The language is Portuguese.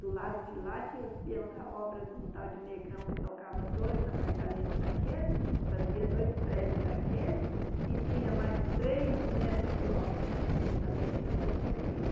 Do lado de lá tinham os peões da obra de um tal de negrão que tocava dois apartamentos daquele, fazia dois prédios daquele e tinha mais três mestres de obra, que também tinha suas cantinas.